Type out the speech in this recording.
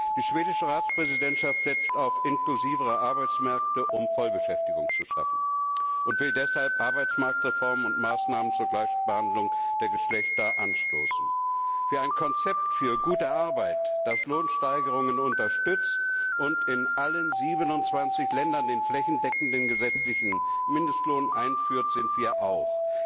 Die schwedische Ratspräsidentschaft setzt auf inklusivere Arbeitsmärkte, um Vollbeschäftigung zu schaffen, und will deshalb Arbeitsmarktreformen und Maßnahmen zur Gleichbehandlung der Geschlechter anstoßen. Für ein Konzept für gute Arbeit, das Lohnsteigerungen unterstützt und in allen 27 Ländern den flächendeckenden gesetzlichen Mindestlohn einführt, sind wir auch.